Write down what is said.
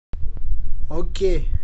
окей